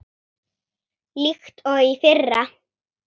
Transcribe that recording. líkt og í fyrra.